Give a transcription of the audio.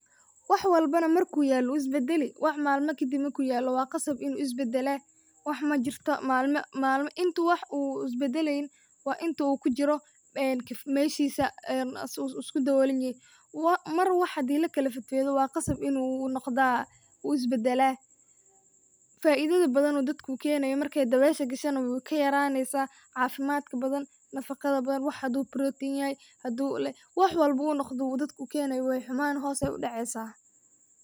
Wax walbona marku yaalo wu isbadali, wax malma kadib marku yaalo waa qasab inu is badalaa, wax majirto malma, malma intu wax is badaleynin waa intuu kujiro meshiisa uu isku daboolan yehe, Mar wax hadii lakala fed fedo waa qasab inu noqdaa uu is badalaa. Faidada badan u dadka ukeenayo markay dabeesha gasho na wayka yaraaneysa caafimad badan, nafaqada badan wax hadu protein yahay hadu le, wax walboba uu dadka ukeenayo waa xumanayan hos ay udhaceysa